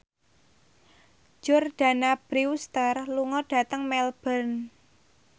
Jordana Brewster lunga dhateng Melbourne